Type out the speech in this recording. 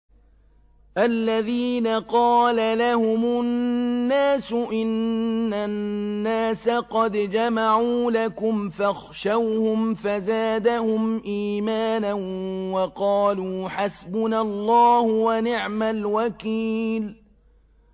الَّذِينَ قَالَ لَهُمُ النَّاسُ إِنَّ النَّاسَ قَدْ جَمَعُوا لَكُمْ فَاخْشَوْهُمْ فَزَادَهُمْ إِيمَانًا وَقَالُوا حَسْبُنَا اللَّهُ وَنِعْمَ الْوَكِيلُ